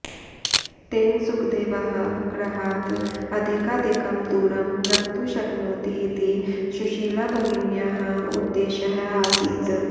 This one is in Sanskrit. तेन सुखदेवः गृहात् अधिकाधिकं दूरं गन्तुं शक्नोति इति सुशीलाभगिन्याः उद्देशः आसीत्